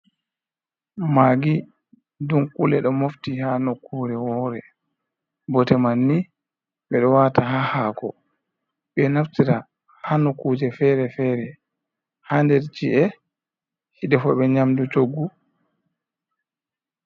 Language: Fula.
Magi dunkule ɗo mofti ha nokkure wore bote manni ɓe ɗo wata ha hako ɓe naftira ha nokuje fere-fere, ha nder ci’e edefuɓe nyamdu coggu.